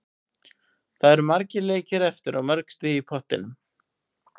Það eru margir leikir eftir og mörg stig í pottinum.